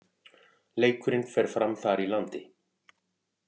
Leikurinn fer fram þar í landi